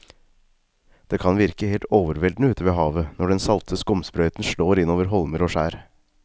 Det kan virke helt overveldende ute ved havet når den salte skumsprøyten slår innover holmer og skjær.